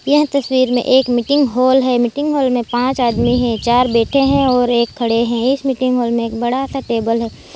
यह तस्वीर में एक मीटिंग हॉल है मीटिंग हॉल में पांच आदमी है चार बैठे हैं और एक खड़े हैं इस मीटिंग हॉल में एक बढा सा टेबल --